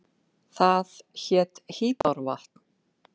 Það hét Hvítárvatn.